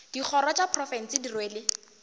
dikgoro tša profense di rwele